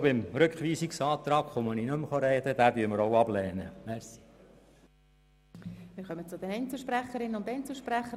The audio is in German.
Zum Rückweisungsantrag werde ich anschliessend nicht mehr sprechen.